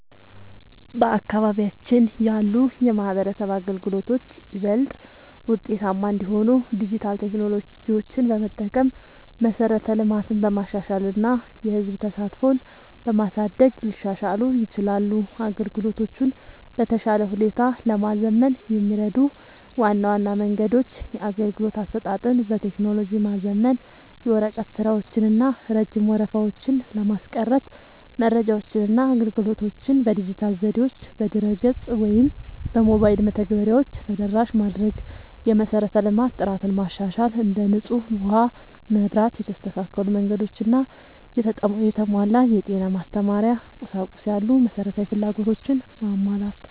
በአካባቢያችን ያሉ የማህበረሰብ አገልግሎቶች ይበልጥ ውጤታማ እንዲሆኑ ዲጂታል ቴክኖሎጂዎችን በመጠቀም፣ መሠረተ ልማትን በማሻሻል እና የህዝብ ተሳትፎን በማሳደግ ሊሻሻሉ ይችላሉ። አገልግሎቶቹን በተሻለ ሁኔታ ለማዘመን የሚረዱ ዋና ዋና መንገዶች - የአገልግሎት አሰጣጥን በቴክኖሎጂ ማዘመን፦ የወረቀት ስራዎችን እና ረጅም ወረፋዎችን ለማስቀረት መረጃዎችንና አገልግሎቶችን በዲጂታል ዘዴዎች (በድረ-ገጽ ወይም በሞባይል መተግበሪያዎች) ተደራሽ ማድረግ። የመሠረተ ልማት ጥራትን ማሻሻል፦ እንደ ንጹህ ውሃ፣ መብራት፣ የተስተካከሉ መንገዶች እና የተሟላ የጤና/የማስተማሪያ ቁሳቁስ ያሉ መሠረታዊ ፍላጎቶችን ማሟላት።